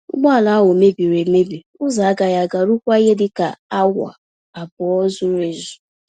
Ụgbọ ala ahụ mebiri emebi ụzọ-agaghị-aga ruokwa ihe dịka awa abụọ zuru-ezú.